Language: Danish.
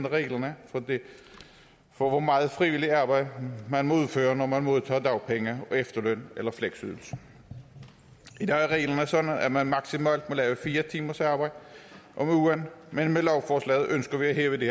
reglerne for hvor meget frivilligt arbejde man må udføre når man modtager dagpenge efterløn eller fleksydelse i dag er reglerne sådan at man maksimalt må lave fire timers arbejde om ugen men med lovforslaget ønsker vi at hæve det